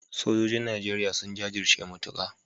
Sojojin Najeriya sun jajirce matuka